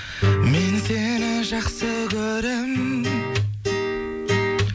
мен сені жақсы көрем